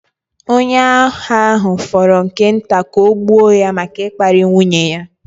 Onye agha ahụ fọrọ nke nta ka ọ gbuo ya maka ịkparị nwunye ya.